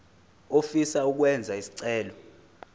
ofisa ukwenza isicelo